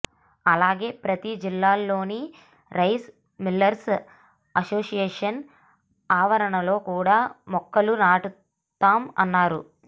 అలాగే ప్రతి జిల్లాలోని రైస్ మిల్లర్స్ అసోసియేషన్ ఆవరణలో కూడా మొక్కలు నాటుతాం అన్నారు